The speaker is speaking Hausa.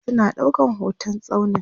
suna ɗaukan hotan tsaunin